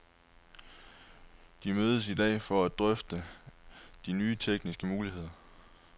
De mødes i dag for at drøfte de nye tekniske muligheder.